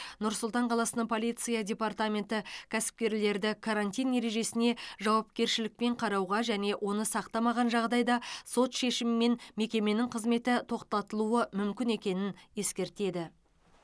нұр сұлтан қаласының полиция департаменті кәсіпкерлерді карантин ережесіне жауапкершілікпен қарауға және оны сақтамаған жағдайда сот шешімімен мекеменің қызметі тоқтатылуы мүмкін екенін ескертеді